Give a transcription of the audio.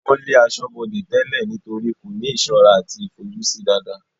wọ́n lé asọ́bọdè tẹ́lẹ̀ nítorí kò ní ìsọ́ra àti ìfojúsí dáadáa